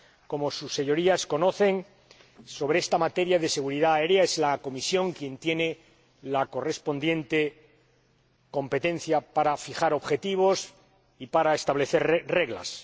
Como sus Señorías saben, sobre esta materia de seguridad aérea es la Comisión quien tiene la correspondiente competencia para fijar objetivos y para establecer reglas.